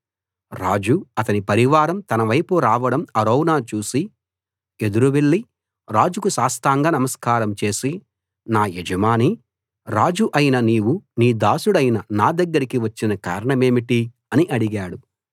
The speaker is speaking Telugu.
రాజు అతని పరివారం తనవైపు రావడం అరౌనా చూసి ఎదురు వెళ్లి రాజుకు సాష్టాంగ నమస్కారం చేసి నా యజమానీ రాజూ అయిన నీవు నీ దాసుడైన నా దగ్గరికి వచ్చిన కారణమేమిటి అని అడిగాడు